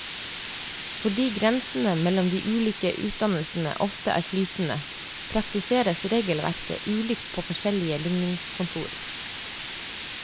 Fordi grensene mellom de ulike utdannelsene ofte er flytende, praktiseres regelverket ulikt på forskjellige ligningskontor.